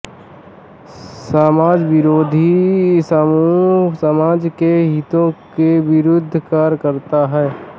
समाजविरोधी समूह समाज के हितों के विरुद्ध कार्य करता है